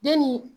Den ni